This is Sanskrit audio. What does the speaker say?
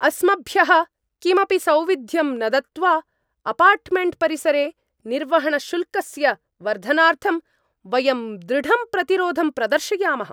अस्मभ्यः किमपि सौविध्यं न दत्त्वा, अपार्टमेण्ट्परिसरे निर्वहणशुल्कस्य वर्धनार्थं वयं दृढं प्रतिरोधं प्रदर्शयामः।